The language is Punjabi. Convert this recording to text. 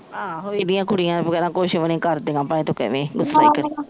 ਆਹ ਏਹਦੀਆ ਕੁੜੀਆਂ ਵਗੇਰਾ ਕੁਜ ਵੀ ਨੀ ਕਰਦੀਆਂ